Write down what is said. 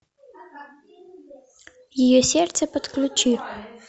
ее сердце подключи